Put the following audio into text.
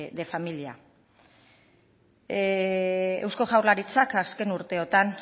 de familia eusko jaurlaritzak azken urteotan